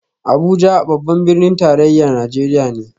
Abuja babban birnin tarayyar Najeriya ne